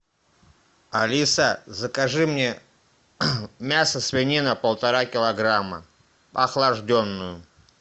алиса закажи мне мясо свинина полтора килограмма охлажденную